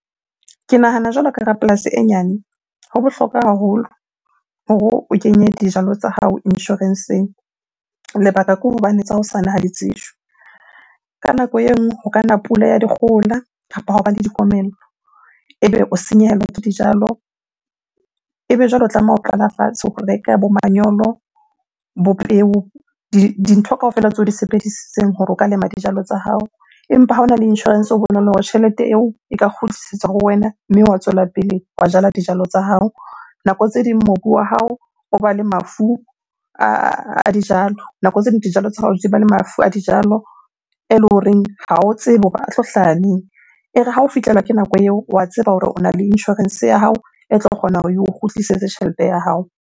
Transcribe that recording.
Ke nahana jwalo ka rapolasi e nyane, ho bohlokwa haholo hore o kenye dijalo tsa hao insurance-eng. Lebaka ke hobane tsa hosane ha di tsejwe. Ka nako e nngwe ho kana pula ya dikgohola kapa hwa ba le dikomello ebe o senyehelwa ke dijalo. Ebe jwale o tlameha ho qala fatshe o reka bo manyolo, bo peo, dintho kaofela tseo o di sebedisitseng hore o ka lema dijalo tsa hao. Empa ha ona le insurance, ho bonolo hore tjhelete eo e ka kgutlisetswa ho wena mme wa tswela pele wa jala dijalo tsa hao. Nako tse ding mobu wa hao o ba le mafu a dijalo, nako tse ding dijalo tsa hao di ba le mafu a dijalo eleng horeng ha o tsebe hore a tlo hlaha neng? E re ha o fihlela ke nako eo, wa tseba hore ona le insurance ya hao e tlo kgona hore eo kgutlisetse tjhelete ya hao.